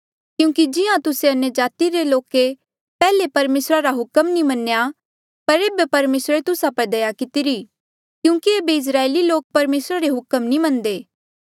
क्यूंकि जिहां तुस्से अन्यजाति रे लोके पैहले परमेसरा रा हुक्म नी मन्या पर ऐबे परमेसरे तुस्सा पर दया कितिरी क्यूंकि ऐबे इस्राएली लोके परमेसरा रे हुक्म नी मन्नदे